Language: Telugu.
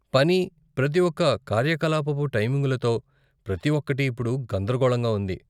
పని, ప్రతి ఒక్క కార్యకలాపపు టైమింగులతో, ప్రతి ఒక్కటి ఇప్పుడు గందరగోళంగా ఉంది